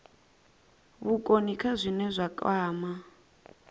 vhukoni kha zwine zwa kwama